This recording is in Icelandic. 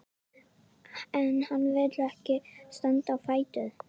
En hann vill ekki standa á fætur.